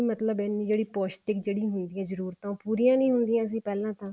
ਮਤਲਬ ਇੰਨੀ ਜਿਹੜੀ ਪੋਸ਼ਟਿਕ ਜਿਹੜੀ ਹੁੰਦੀ ਆ ਜ੍ਰੁਰੁਤਾਂ ਉਹ ਪੂਰੀਆਂ ਨੀ ਹੁੰਦੀਆਂ ਸੀ ਪਹਿਲਾਂ ਤਾਂ